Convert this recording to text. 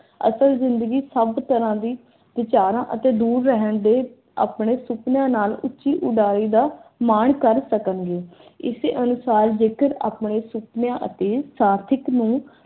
ਅਸਲ ਜ਼ਿੰਦਗੀ ਸਭ ਤਰ੍ਹਾਂ ਦੀ ਵਿਚਾਰਾਂ ਅਤੇ ਦੂਰ ਰਹਿਣ ਦੇ ਆਪਣੇ ਸੁਪਨਿਆਂ ਨਾਲ ਉੱਚੀ ਉਡਾਰੀ ਦਾ ਮਾਣ ਕਰ ਸਕਣਗੇ। ਇਸੇ ਅਨੁਸਾਰ ਜੇਕਰ ਆਪਣੇ ਸੁਪਨਿਆਂ ਅਤੇ ਸਾਰਥਿਕ ਨੂੰ